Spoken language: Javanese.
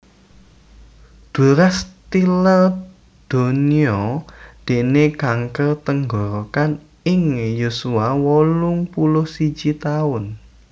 Duras tilar donya déné kanker tenggorokan ing yuswa wolung puluh siji taun